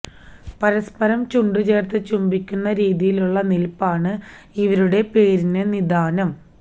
പരസ്പരം ചുണ്ടുചേര്ത്ത് ചുംബിക്കുന്ന രീതിയിലുള്ള നില്പ്പാണ് ഇവയുടെ പേരിന് നിദാനം